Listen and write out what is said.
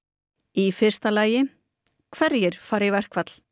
í fyrsta lagi hverjir fara í verkfall